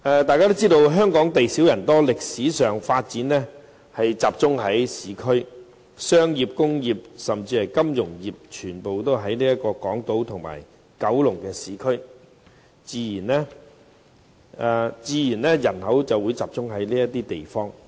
大家知道香港地小人多，在歷史上的發展也集中於市區，商業、工業和金融業活動多集中於港島或九龍等市區，人口自然也會集中在這些地方。